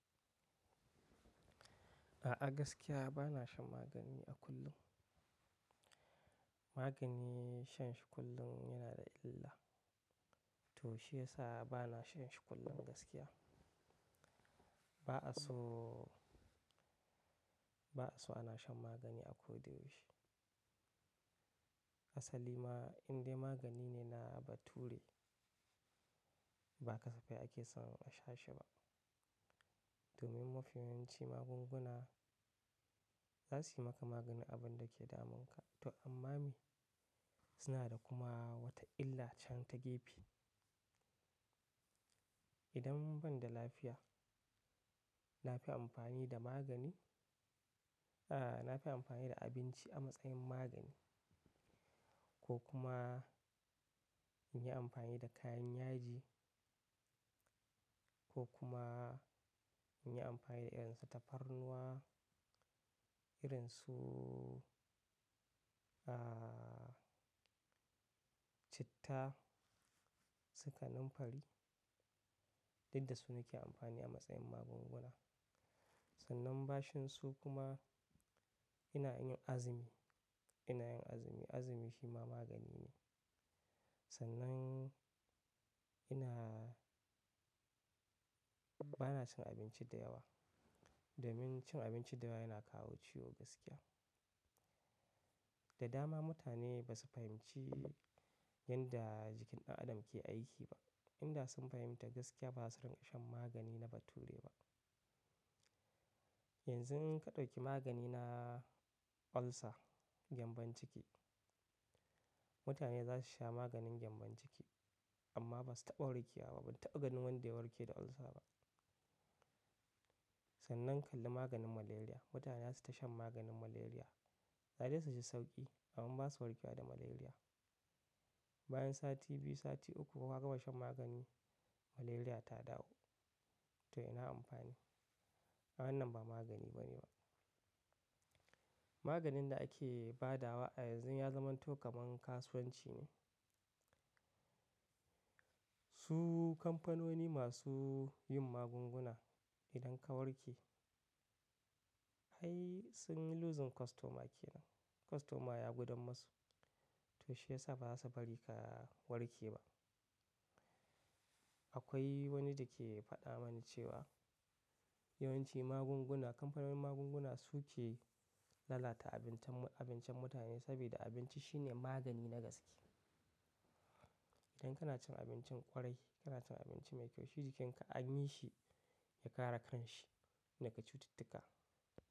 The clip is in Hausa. A'a gaskiya bana shan magani a kullum. Magani shan shi kullum yana da illa to shiyasa bana shan shi kullum gaskiya. Ba'a so, ba'a so ana shan magani a ko da yaushe. Asali ma indai magani ne na bature. Ba kasafai ake son a sha shi ba. Domin mafi yawanci magunguna za su yi maka maganin abin da ke damunka to amma mi suna da kuma wata illa can ta gefe. Idan ban da lafiya, na fi amfani da magani, a, na fi amfani da abinci a matsayin magani ko kuma in yi amfani da kayan yaji ko kuma in yi amfani da irin su tafarnuwa, irin su, a, citta, sikanun fari, duk da su nake amfani a matsayin magunguna. Sannan bachin su kuma ina yin azumi, ina yin azumi, azumi shi ma magani ne. Sannan ina-- bana cin abinci da yawa, domin cin abinci da yawa yana kawo ciwo gaskiya. Da dama mutane ba su fahimci yanda jikin ɗan adam ke aiki ba. Inda sun fahimta gaskiya ba za su rinƙa shan magani na bature ba. Yanzu in ka ɗauki magani na ulcer, gyambon ciki, mutane za su sha maganin gyambon ciki amma ba su taɓa warke wa ba. Ban taɓa ganin wanda ya warke da ulcer ba. Sannan ka kalli maganin malaria, mutane zasu ta shan maganin malaria, za dai su ci sauƙi amma ba su warke wa da malaria. Bayan sati biyu, sati uku ka gama shan magani, malaria ta dawo. To ina amfani? Wannan ba magani bane ba. Maganin da ake ba da wa a yanzu ya zama to kaman kasuwanci ne. Su kamfanoni masu yin magunguna idan ka warke, ai sun yi losing customer kenan. Customer ya gudan masu to shiyasa ba za su bari ka warke ba. Akwai wani da ke faɗa mani cewa yawanci magunguna, kamfanonin magunguna su ke lalata abincin, abincin mutane saboda abinci shine magani na gaske. Idan kana cin abincin ƙwarai, kana cin abinci mai kyau, shi jikinka an yi shi ya kare kan shi daga cututtuka.